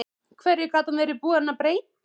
Hverju gat hann verið búinn að breyta?